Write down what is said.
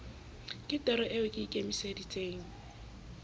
ke toro eo ke ikemiseditseng